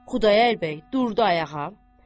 Xudayar bəy durdu ayağa.